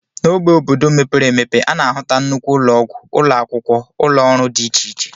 N'ógbè obodo mepere emepe, a na-ahụta nnukwu ụlọọgwụ, ụlọ akwụkwọ, ụlọọrụ dị iche iche